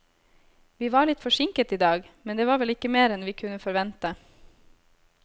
Vi var litt forsinket i dag, men det var vel ikke mer enn vi kunne forvente.